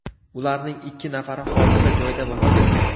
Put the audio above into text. Ularning ikki nafari hodisa joyida vafot etgan.